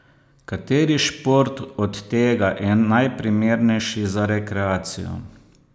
Kateri šport od tega je najprimernejši za rekreacijo?